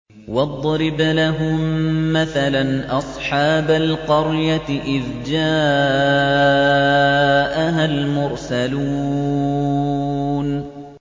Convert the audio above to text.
وَاضْرِبْ لَهُم مَّثَلًا أَصْحَابَ الْقَرْيَةِ إِذْ جَاءَهَا الْمُرْسَلُونَ